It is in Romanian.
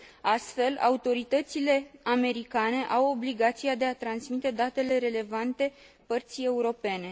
Astfel, autoritățile americane au obligația de a transmite datele relevante părții europene.